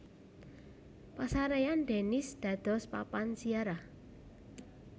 Pasarèyan Denis dados papan ziarah